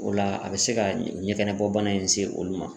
O la a bɛ se ka ɲɛgɛnɛ bɔ bana in se olu ma.